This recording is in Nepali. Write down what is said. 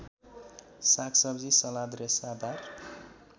सागसब्जी सलाद रेसादार